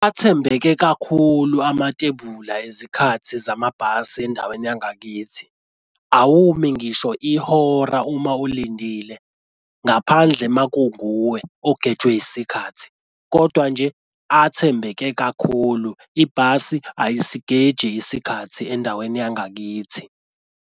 Athembeke kakhulu amatebula ezikhathi zamabhasi endaweni yangakithi. Awumi ngisho ihora uma ulindile. Ngaphandle uma kunguwe ogejwe isikhathi, kodwa nje athembeke kakhulu. Ibhasi ayisigeji isikhathi endaweni yangakithi.